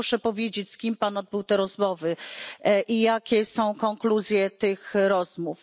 Proszę powiedzieć, z kim Pan odbył te rozmowy i jakie są konkluzje tych rozmów.